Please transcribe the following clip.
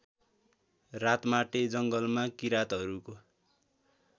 रातमाटे जङ्गलमा किराँतहरूको